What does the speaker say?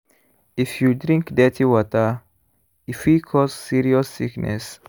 if you drink dirty water e fit cause serious sickness.